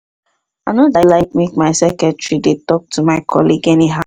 i no dey like make my secretary dey talk to my colleague anyhow